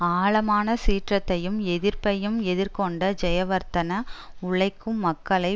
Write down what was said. ஆழமான சீற்றத்தையும் எதிர்ப்பையும் எதிர்கொண்ட ஜயவர்தன உழைக்கும் மக்களை